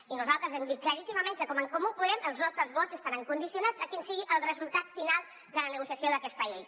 i nosaltres hem dit claríssimament que com en comú podem els nostres vots estaran condicionats a quin sigui el resultat final de la negociació d’aquesta llei